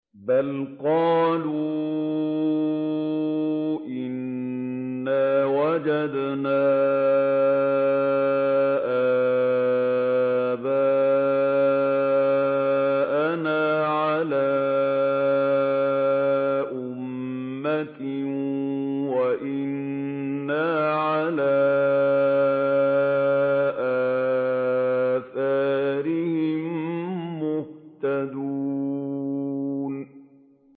بَلْ قَالُوا إِنَّا وَجَدْنَا آبَاءَنَا عَلَىٰ أُمَّةٍ وَإِنَّا عَلَىٰ آثَارِهِم مُّهْتَدُونَ